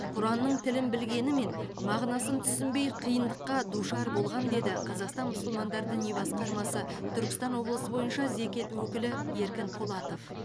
құранның тілін білгенімен мағынасын түсінбей қиындыққа душар болған деді қазақстан мұсылмандар діни басқармасы түркістан облысы бойынша зекет өкілі еркін полатов